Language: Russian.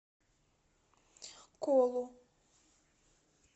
колу